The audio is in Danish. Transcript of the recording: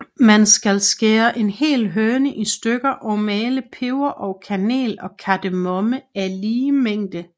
Man skal skære en hel høne i stykker og male peber og kanel og kardemomme af lige mængde